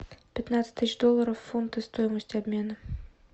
пятнадцать тысяч долларов в фунты стоимость обмена